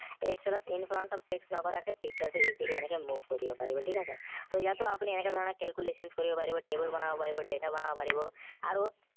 excel ত in front of text নকৰাকে picture টো easily এনেকে move কৰিব পাৰিব ঠিক আছে ইয়াতো আপুনি এনেকে ধৰনে calculations কৰিব পাৰিব table বনাব পাৰিব data বনাব পাৰিব আৰু